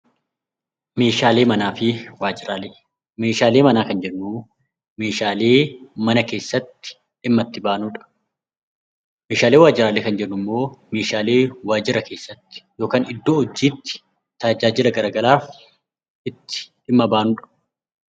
Meeshaalee manaa fi waajiraalee Meeshaalee manaa kan jennu, Meeshaalee mana keessatti dhimma itti baanudha. Meeshaalee waajiraalee kan jennu immoo Meeshaalee waajiraalee keessatti yookiin iddoo hojiitti tajaajila garaagaraaf itti dhimma baanudha.